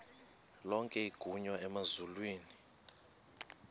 lonke igunya emazulwini